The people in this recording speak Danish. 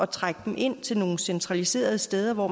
trække dem ind til nogle centraliserede steder hvor